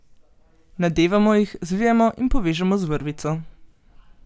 Nadevamo jih, zvijemo in povežemo z vrvico.